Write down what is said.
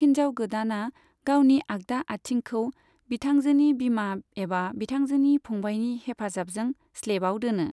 हिनजाव गोदाना गावनि आगदा आथिंखौ बिथांजोनि बिमा एबा बिथांजोनि फंबायनि हेफाजाबजों स्लेबाव दोनो।